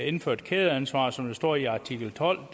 indføre et kædeansvar som der står i artikel tolv